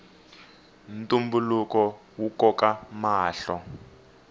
ntumbuluko wu koka mahlo